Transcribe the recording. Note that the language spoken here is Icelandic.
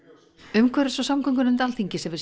umhverfis og samgöngunefnd Alþingis hefur